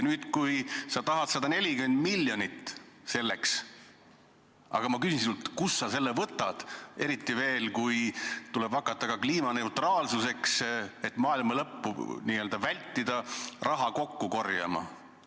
Nüüd sa tahad 140 miljonit, aga ma küsin sinult, kust sa selle võtad, eriti veel, kui tuleb hakata ka kliimaneutraalsuse heaks raha kokku korjama, et maailma lõppu vältida.